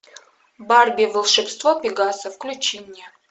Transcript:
барби волшебство пегаса включи мне